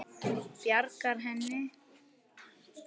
Bjarga henni?